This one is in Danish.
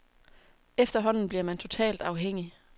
Efterhånden bliver man totalt afhængig.